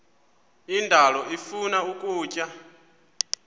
indalo ifuna ukutya